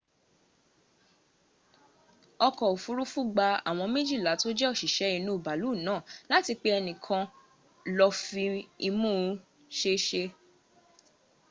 oko ofurufu gba awom mejila to je osise inu baalu na la ati pe enikan lo fi imu sese